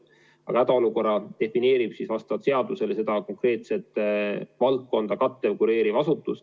Aga hädaolukorra defineerib vastavalt seadusele konkreetset valdkonda kureeriv asutus.